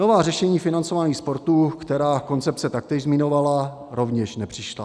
Nová řešení financování sportu, která koncepce taktéž zmiňovala, rovněž nepřišla.